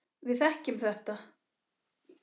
Við þekkjum þetta.